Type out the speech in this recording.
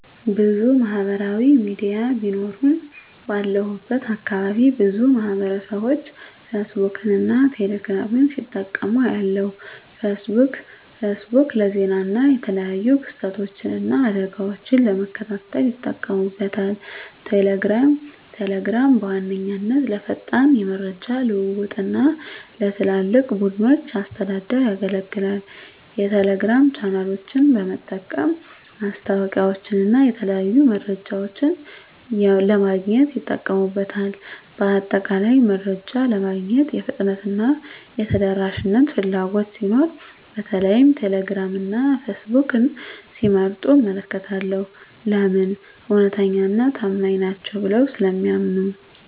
**ብዙ ማህበራዊ ሚዲያ ቢኖሩም፦ ባለሁበት አካባቢ ብዙ ማህበረሰብቦች ፌስቡክን እና ቴሌ ግራምን ሲጠቀሙ አያለሁ፤ * ፌስቡክ: ፌስቡክ ለዜና እና የተለያዩ ክስተቶችን እና አደጋወችን ለመከታተል ይጠቀሙበታል። * ቴሌግራም: ቴሌግራም በዋነኛነት ለፈጣን የመረጃ ልውውጥ እና ለትላልቅ ቡድኖች አስተዳደር ያገለግላል። የቴሌግራም ቻናሎችን በመጠቀም ማስታወቂያወችንና የተለያዩ መረጃዎችን ለማግኘት ይጠቀሙበታል። በአጠቃላይ፣ መረጃ ለማግኘት የፍጥነትና የተደራሽነት ፍላጎት ሲኖር በተለይም ቴሌግራም እና ፌስቡክን ሲመርጡ እመለከታለሁ። *ለምን? እውነተኛና ታማኝ ናቸው ብለው ስለሚያምኑ።